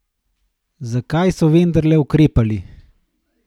Zakaj so vendarle ukrepali?